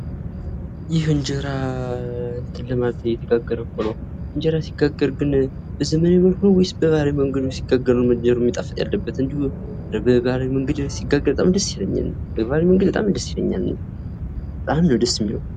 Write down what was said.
ይህ እንጀራ እየተጋገረ እኮ ነው! እንጀራ ሲጋገር ግን በዘመናዊ መንገድ ነው ወይስ በባህላዊ መንገድ ሲጋገር መጣፈጥ ያለበት? በባህላዊ መንገድ ሲጋገር በጣም ደስ ይለኛል እኔ።